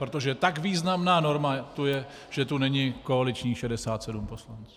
Protože tak významná norma tu je, že tu není koaličních 67 poslanců.